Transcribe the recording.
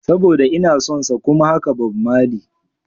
Saboda inason sa kuma haka Bob Marley.